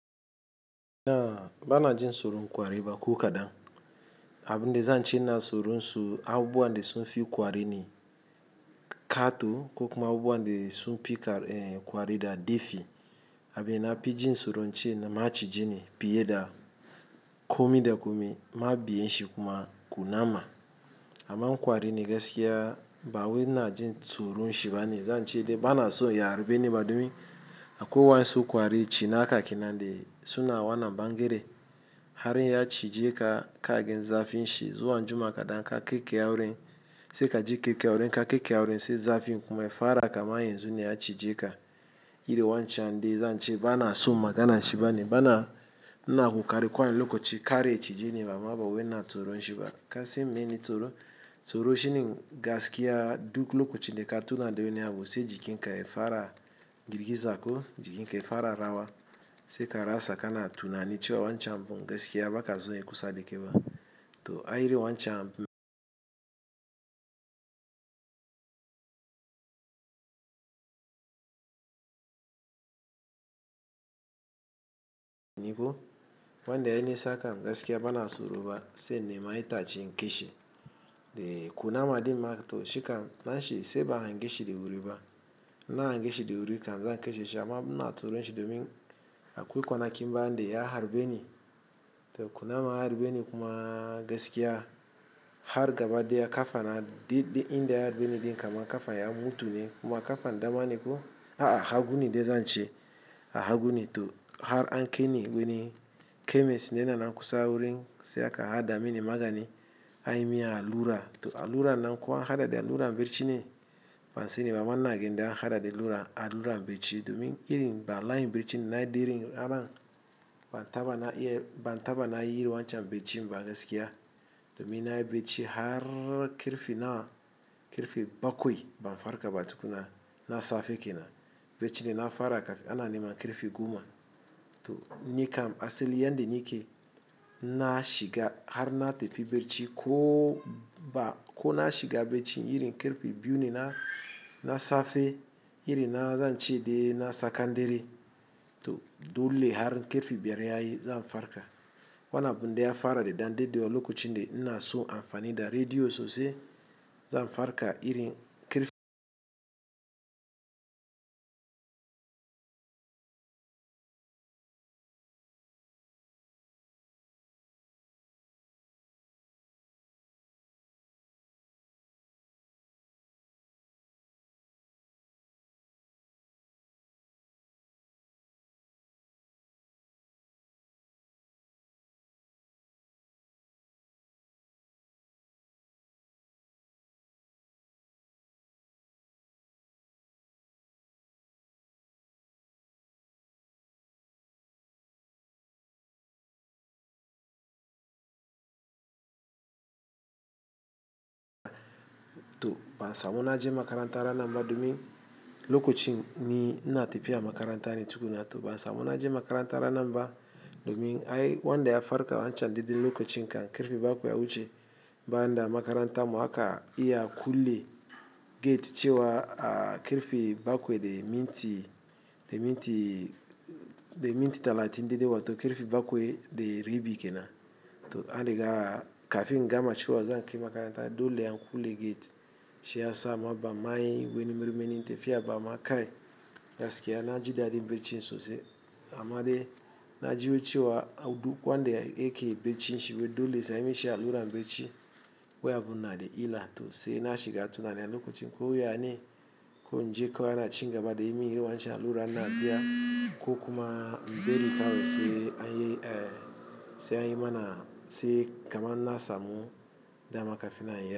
Na bana jin soro kwari ba ko kadan. Abin da zan ce na soro su, abubuwan da sun fi kwari ne. Kato ko kuma abubuwan da sun fi kwari da dafi. Abin na fi jin soro ce na maciji ne, fiye da komi da komi, ma biyan shi kuma kunama. Ama kwari ne gaskiya. Ba wai ina jin tsoron shi ba ne. Zan ce dai bana so ya harbe ni, ba domin akwai wani sun kwarin cinaka kenan da suna wannan bangere. Har ya cije ka, ka gan zafin shi zuwa anjiu' ma kaɗan ka ƙaiƙaye wurin. Sai ka ji kyakya wurin, in ka ƙaiƙaya wurin, sai zafin kuma ya fara kaman yanzu ne ya cije ka. Irin wancan dai zan ce bana son magana shi ba ne. Bana na ƙoƙari kowane lokaci kar ya cije ni, ba ma ba wai ina tsoron shi ba. Kasan meyene tsoro. Tsoro shi ne gaskiya duk lokacin da ka tuna da wani abu sai jikin ka ya fara girgiza ko jikin ka ya fara rawa. Sai ka rasa kana tuna ni cewa wancan abun gaskiya ba ka so yayi kusa da kai ba. To, a irin wancan ko wanda ya nisa kam gaskiya ba na tsoro ba sai in nema itace in kashe. Dai kunama ɗin ma to shikan na shi sai ban han geshi da wuri ba. In na han geshi da wuri kam zan kashe shi amma ina tsoron shi domin akwai kwanakin bayan da ya harbe ni. To kuna ma harbe ni kuma gaskiya har gaba ɗaya ƙa fana. Daidai inda ya harbe ni dai kaman ƙafan ya mutu ne kuma ƙafan dama ne ko. A'a, ha gune dai zan ce a ha gune. To har an kaini wani kemis ne yana nan kusa wurin sai aka haɗa mini magani an yi min allura. To alluran nan ko an haɗa da alluran bacci ne. Bansani ba amma ina ganin an haɗa da allura bacci domin irin ba lahin bacci na da irin aran. Ban taɓa na iya, ban taɓa na yi irin wancan baccin ba gaskiya. Domin na yi bacci har ƙarfe nawa, ƙarfe bakwai ban farka ba tukuna. Na safe ke nan bacci da na fara kaf ana ne man ƙarfe goma. To ni kam asali yanda nike na shiga har na tafi bacci ko ba ko na shiga bacci irin ƙarfe biyu ne na safe irin na zan ce dai na tsakandare. To dole har ƙarfe biyar ya yi zan farka. Wannan abun dai ya fara da ɗanda ɗawa lokacin da ina son amfani da rediyo sosai. Zan farka irin ƙarfe to ban samu na je makaranta ranan ba domin lokacin ni ina tafiya makaranta ne tukunna. To ban samu na je makaranta ranan ba domin ai wanda ya farka wancan daidai lokacin kan ƙarfe bakwai ya wuce. Banida makarantan mu haka iya kulle gate cewa a ƙarfe bakwai da minti, da minti, da minti talatin dai dai wa to ƙarfe bakwai da rabi ke nan. To an riga kafin in gama cewa za, a kai makaranta dole an kulle gate. Shi ya sa ma bamma yin wani marmarin tafiya ba amma kai. Gaskiya na ji daɗin baccin sosai. Amma dai na ji wai cewa duk wanda yake baccin shi wai dole sai anyi mishi alluran bacci. Wai abun na da illa to sai na shiga tuna ni a lokacin ko ya ne ko in je kawai ana cin gaba da yi min irin wancan alura na biya ko kuma bari kawai sai an yi, sai an yi mana sai kaman na samu dama kafin na iya.